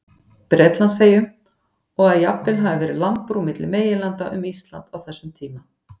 Bretlandseyjum, og að jafnvel hafi verið landbrú milli meginlanda um Ísland á þessum tíma.